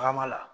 Tagama la